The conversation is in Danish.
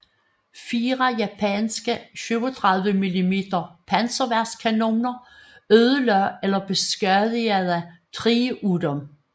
Fire japanske 37 mm panserværnskanoner ødelagde eller beskadigede 3 af dem